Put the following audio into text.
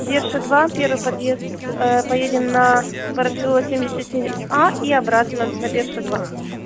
берша два первый подъезд поедем на ворошилова семьдесят семь а и обратно на берша два